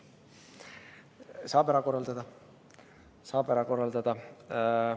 Saab ära korraldada.